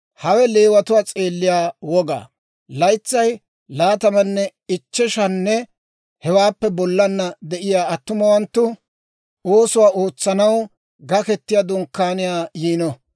«Hawe Leewatuwaa s'eelliyaa wogaa: laytsay laatamanne ichcheshanne hewaappe bollana de'iyaa attumawanttu oosuwaa ootsanaw Gaketiyaa Dunkkaaniyaa yiino.